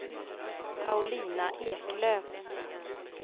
Paulina Eklöf